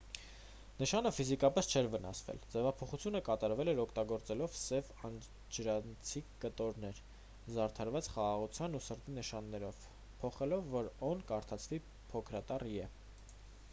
նշանը ֆիզիկապես չէր վնասվել․ ձևափոխությունը կատարվել էր՝ օգտագործելով սև անջրանցիկ կտորներ՝ զարդարված խաղաղության ու սրտի նշաններով փոխելով որ «օ»-ն կարդացվի փոքրատառ «ե»։